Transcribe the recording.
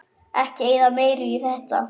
Ekki eyða meiru í þetta